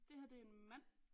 Det her det er en mand